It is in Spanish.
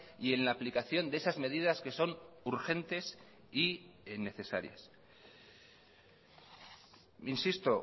y en la aplicación de esas medidas que son urgentes y necesarias insisto